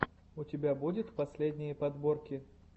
у тебя будет последние подборки